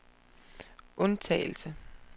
undtagelse